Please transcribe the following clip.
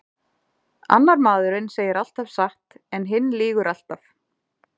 Annar maðurinn segir alltaf satt en hinn lýgur alltaf.